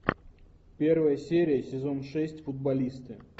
первая серия сезон шесть футболисты